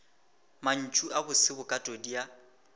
mantšu a bose bokatodi ya